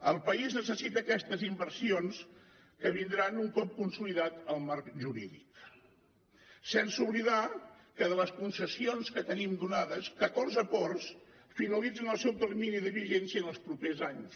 el país necessita aquestes inversions que vindran un cop consolidat el marc jurídic sense oblidar que de les concessions que tenim donades catorze ports finalitzen el seu termini de vigència en els propers anys